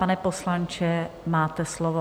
Pane poslanče, máte slovo.